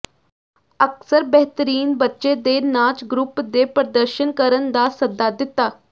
ਅਕਸਰ ਬੇਹਤਰੀਨ ਬੱਚੇ ਦੇ ਨਾਚ ਗਰੁੱਪ ਦੇ ਪ੍ਰਦਰਸ਼ਨ ਕਰਨ ਦਾ ਸੱਦਾ ਦਿੱਤਾ